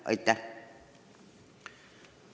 Aitäh!